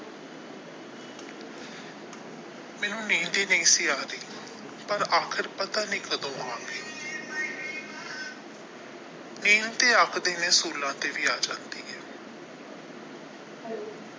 ਮੈਨੂੰ ਨੀਂਦ ਹੀ ਨਹੀ ਸੀ ਆ ਰਹੀ ਪਰ ਅਖੀਰ ਪਤਾ ਨਹੀ ਕਦੋ ਆ ਗਈ ਨੀਂਦ ਤੇ ਆਖਦੇ ਨੇ ਤੇ ਵੀ ਆ ਜਾਂਦੀ ਹੈ।